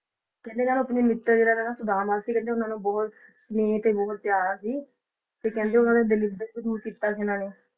ਕਹਿੰਦੇ ਨੇ ਉਹ ਆਪਣੇ ਮਿੱਤਰ ਜਿਨ੍ਹਾਂ ਦਾ ਨਾਮ ਸੁਦਾਮਾ ਸੀ ਕਹਿੰਦੇ ਉਹਨਾਂ ਨਾਲ ਬਹੁੱਤ ਸਨੇਹ ਤੇ ਬਹੁੱਤ ਪਿਆਰ ਸੀ ਤੇ ਕਹਿੰਦੇ ਉਹਨਾਂ ਨੇ ਦਲਿੱਦਰ ਦੂਰ ਕੀਤਾ ਸੀ ਉਹਨਾਂ ਨੇ।